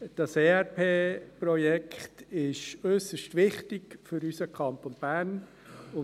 Das ERP-Projekt ist für unseren Kanton Bern äusserst wichtig.